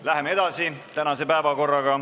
Läheme edasi.